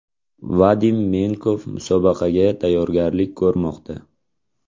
Vadim Menkov musobaqaga tayyorgarlik ko‘rmoqda.